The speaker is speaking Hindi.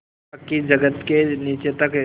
पक्की जगत के नीचे तक